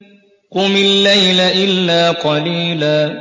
قُمِ اللَّيْلَ إِلَّا قَلِيلًا